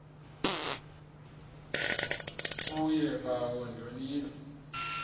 kuye bawo ndonile